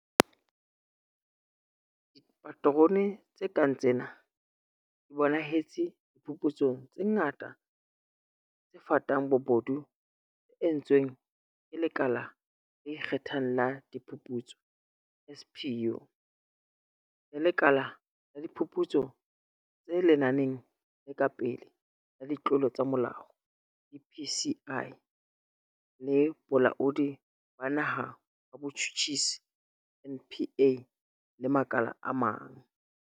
Dipaterone tse kang tsena di bonahetse diphuputsong tse ngata tse fatang bobodu tse entsweng ke Lekala le Ikge thang la Diphuputso, SPU, le Lekala la Diphuputso tse Lenaneng le Ka Pele la Ditlolo tsa Molao, DPCI, le Bolaodi ba Naha ba Botjhutjhisi, NPA, le makala a mang.